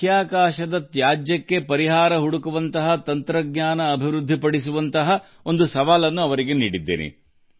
ಬಾಹ್ಯಾಕಾಶದಲ್ಲಿಯ ತ್ಯಾಜ್ಯದ ಸಮಸ್ಯೆಯನ್ನು ನಿವಾರಿಸುವ ಕಾರ್ಯಾಚರಣಾ ತಂತ್ರಜ್ಞಾನವನ್ನು ಅಭಿವೃದ್ಧಿಪಡಿಸಬೇಕು ಎಂದು ನಾನು ಅವರಿಗೆ ಹೇಳಿದ್ದೇನೆ